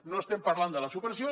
no estem parlant de la supressió